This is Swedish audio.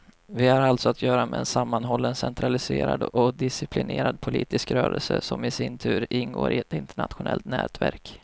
Vi har alltså att göra med en sammanhållen centraliserad och disciplinerad politisk rörelse, som i sin tur ingår i ett internationellt nätverk.